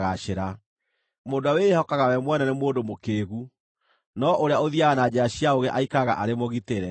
Mũndũ ũrĩa wĩĩhokaga we mwene nĩ mũndũ mũkĩĩgu, no ũrĩa ũthiiaga na njĩra cia ũũgĩ aikaraga arĩ mũgitĩre.